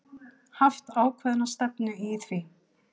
Haft ákveðna stefnu í því?